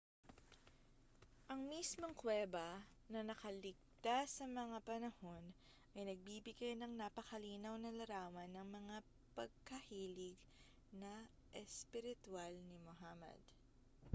ang mismong kuweba na nakaligtas sa mga panahon ay nagbibigay ng napakalinaw na larawan ng mga pagkahilig na espiritwal ni muhammad